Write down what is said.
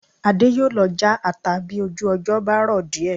Adé yóò lọ já ata bí ojú ọjọ́ bá rọ̀ díẹ̀